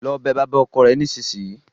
Lọ bẹ bàbá ọkọ rẹ nísinsìnyí!